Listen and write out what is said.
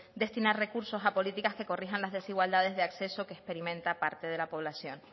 destinar recursos a políticas que corrijan las desigualdades de acceso que experimenta parte de la población